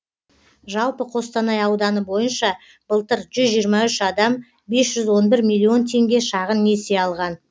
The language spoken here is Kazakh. жалпы қостанай ауданы бойынша былтыр жүз жиырма үш адам бес жүз он бір миллион теңге шағын несие алған